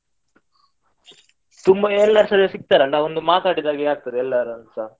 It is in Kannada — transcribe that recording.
ತುಂಬಾ ಎಲ್ಲರುಸಾ ಸಿಕ್ತಾರಲ್ಲ ಒಂದು ಮಾತಾಡಿದಾಗೆ ಆಗ್ತದೆ ಎಲ್ಲರಲ್ಲುಸಾ.